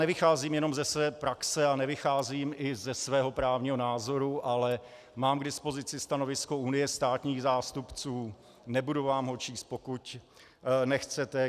Nevycházím jenom ze své praxe a nevycházím i ze svého právního názoru, ale mám k dispozici stanovisko Unie státních zástupců, nebudu vám ho číst, pokud nechcete.